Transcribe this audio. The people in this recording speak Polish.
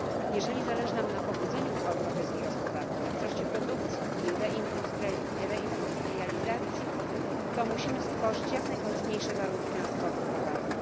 Jeżeli zależy nam na pobudzeniu europejskiej gospodarki, na wzroście produkcji i reindustrializacji, to musimy stworzyć jak najkorzystniejsze warunku transportu towarów.